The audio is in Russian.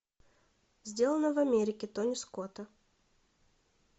сделано в америке тони скотта